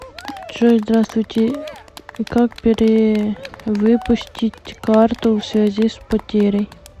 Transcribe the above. джой здравствуйте как перевыпустить карту в связи с потерей